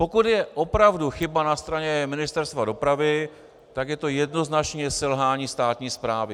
Pokud je opravdu chyba na straně Ministerstva dopravy, tak je to jednoznačně selhání státní správy.